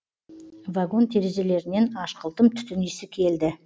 вагон терезелерінен ашқылтым түтін иісі келді